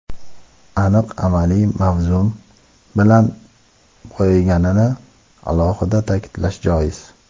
aniq amaliy mazmun bilan boyiganini alohida ta’kidlash joiz.